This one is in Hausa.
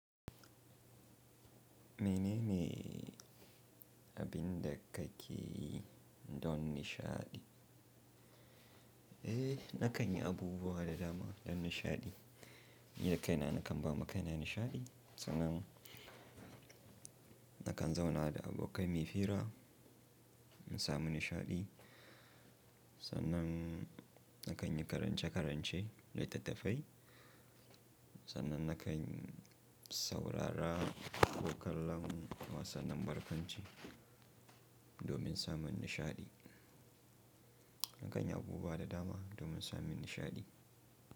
Menene abin da kake yi don nishaɗi? Eh, na kan yi abubuwa da dama don nishaɗi. Ni a kaina na kan ba ma kaina nishaɗi, sannan na kan zauna da abokai mai fira in samu nishaɗi. Sannan na kan yi karance-karance litattafai, sannan na kan saurara ko kallon wasannin barkwanci domin samun nishaɗi. Na kan yi abubuwa da dama domin samun nishaɗi.